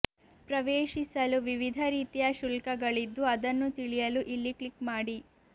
ಪ್ರವೇಶಿಸಲು ವಿವಿಧ ರೀತಿಯ ಶುಲ್ಕಗಳಿದ್ದು ಅದನ್ನು ತಿಳಿಯಲು ಇಲ್ಲಿ ಕ್ಲಿಕ್ ಮಾಡಿ